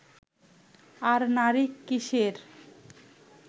আর নারী কীসের